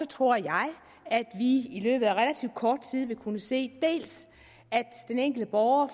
tror jeg at vi i løbet af relativt kort tid vil kunne se at den enkelte borger